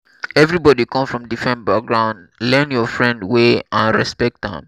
everybody come from different background learn your friend way and respect am